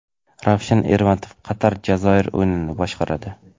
Ravshan Ermatov Qatar − Jazoir o‘yinini boshqaradi.